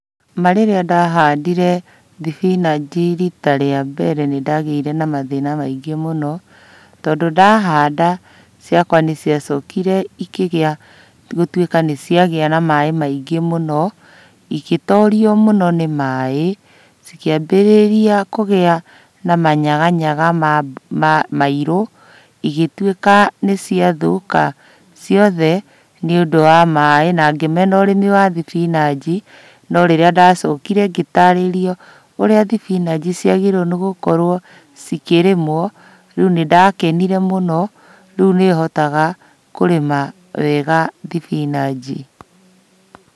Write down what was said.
Ma rĩrĩa ndahandire thibinaci rita rĩa mbere, nĩndagĩire na mathĩna maingĩ mũno. Tondũ ndahanda, ciakwa nĩciacokire ikĩgĩa gũtuĩka nĩciagĩa na maĩ maingĩ mũno, igĩtorio mũno nĩ maĩ, cikĩambĩrĩria kũgĩa na manyaga nyaga mairũ igĩtuĩka nĩciathũka ciothe nĩũndũ wa maĩ, na ngĩmena ũrĩmi wa thibinachi. No rĩrĩa ndacokire ngĩtarĩrio, ũrĩa thibinachi ciagĩrĩire gũkorwo cikĩrĩmwo, rĩu nĩndakenire mũno, rĩu nĩhotaga kũrĩma wega thibinachi.